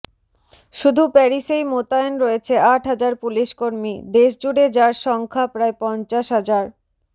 শুধু প্যারিসেই মোতায়েন রয়েছে আট হাজার পুলিশকর্মী দেশজুড়ে যার সংখ্যা প্রায় পঞ্চাশ হাজার